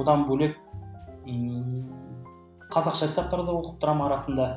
одан бөлек ыыы қазақша кітаптар да оқып тұрамын арасында